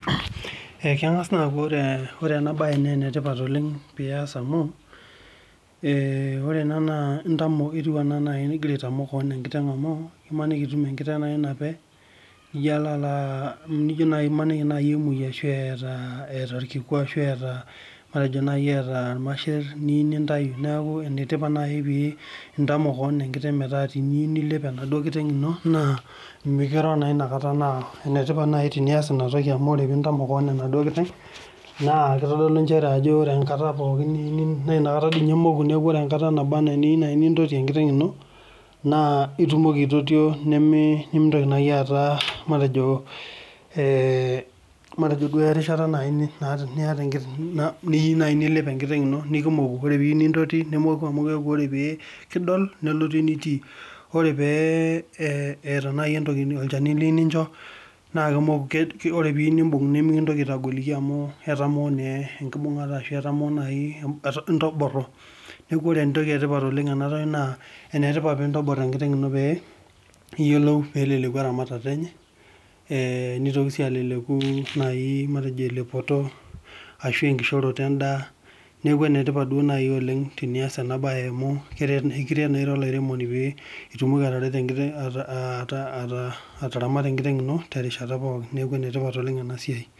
Ekengas akuu enetipat ena mbae pee eyas amu ore ena etieu enaa egira aitamok kewon enkiteng amu emaniki etum enkiteng naape emaniki emoji ashu etaa irkiku ashu etaa irmasheren niyieu nintau neeku enetipat naajii pee entamok kewon enkiteng meta teniyieu nilep enaduo kiteng eno nimikirua naa enetipat naaji tenias ena naa ore enkata niyieu nintoti naa etumoki aitotio nimintoki ataa erishata niyieu nilep enkiteng eno ore pee eyieu nintoti nemoku amu ore pee kidol nelotu enitii ore etaa olchani liyieu nincho ore pee ebok nimikidoki aitagoliki amu etaa enkibungata amu entoboro neeku enetipat pee entobir enkiteng eno pee ekiyiolou pee keleleku eramatare enye nitoki sii aleleku elepoto ashu enkaioroto endaa neeku enetipat naaji oleng tenias ena mbae amu ekiret naa era olairemoni pee etumoki ataramata enkiteng eno terishata pookin neeku enetipat ena siai